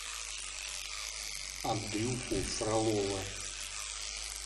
андрюху фролова